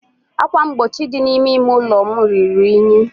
ákwà mgbochi dị n'ime ime ụlọ m ruru unyi.